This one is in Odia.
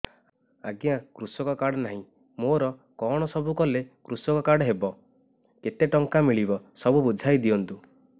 ଆଜ୍ଞା କୃଷକ କାର୍ଡ ନାହିଁ ମୋର କଣ ସବୁ କଲେ କୃଷକ କାର୍ଡ ହବ କେତେ ଟଙ୍କା ମିଳିବ ସବୁ ବୁଝାଇଦିଅନ୍ତୁ